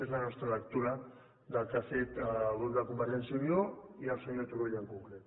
és la nostra lectura del que ha fet el grup de convergència i unió i el senyor turull en concret